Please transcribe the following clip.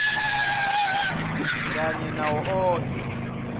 kanye nawo onkhe